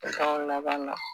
laban dɔn